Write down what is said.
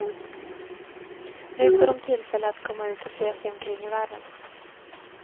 Nu får de tillfälle att komma ut och se sig omkring i världen.